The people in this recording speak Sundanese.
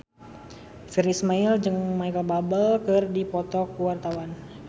Virnie Ismail jeung Micheal Bubble keur dipoto ku wartawan